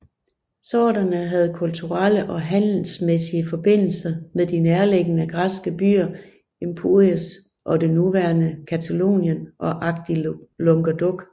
Sorderne havde kulturelle og handelsmæssige forbindelser med de nærliggende græske byer Empúries i det nuværende Catalonien og Agde i Languedoc